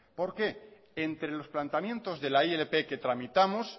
por qué entre los planteamientos de la ilp que tramitamos